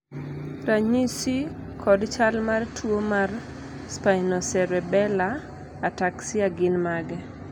ranyisi kod chal mar tuo mar Spinocerebellar ataxia gin mage?